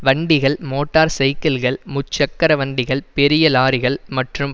வண்டிகள் மோட்டார் சைக்கிள்கள் முச்சக்கர வண்டிகள் பெரிய லொறிகள் மற்றும்